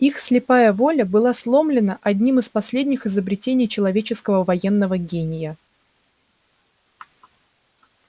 их слепая воля была сломлена одним из последних изобретений человеческого военного гения